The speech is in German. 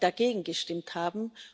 dagegen gestimmt haben.